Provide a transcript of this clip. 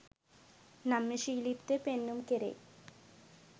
නම්‍යශීලීත්වය පෙන්නුම් කෙරෙයි